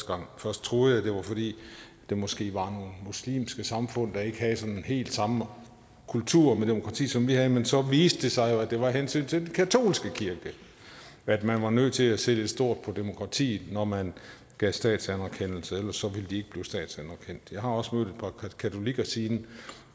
gang først troede jeg det var fordi der måske var nogle muslimske samfund der ikke havde sådan den helt samme kultur med demokrati som vi har men så viste det sig at det jo var af hensyn til den katolske kirke at man var nødt til at se lidt stort på demokratiet når man gav statsanerkendelse ellers ville de ikke blive statsanerkendt jeg har også mødt et par katolikker siden